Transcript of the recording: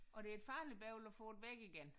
Og det er et farligt bøvl at få væk igen